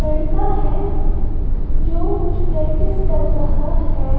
लड़का है जो कुछ प्रैक्टिस कर रहा हैं।